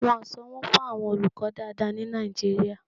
Wọn ò sanwó fún àwọn olùkọ́ dáadáa ní Nàìjíríà.